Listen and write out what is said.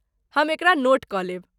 हम एकरा नोट कऽ लेब।